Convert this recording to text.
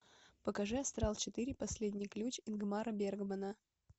покажи астрал четыре последний ключ ингмара бергмана